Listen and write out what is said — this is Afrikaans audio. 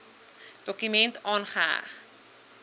dokument aangeheg